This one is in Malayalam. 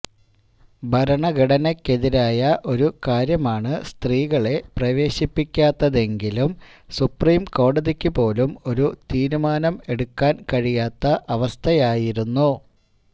ഭരണഘടനയ്ക്കെതിരായ ഒരു കാര്യമാണ് സ്ത്രീകളെ പ്രവേശിപ്പിക്കാത്തതെങ്കിലും സുപ്രീംകോടതിക്ക് പോലും ഒരു തീരുമാനം എടുക്കാന് കഴിയാത്ത അവസ്ഥയായിരുന്നു